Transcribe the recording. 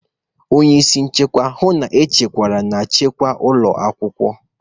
Onye isi nchekwa, hụ na nchekwa na nchekwa ụlọ akwụkwọ.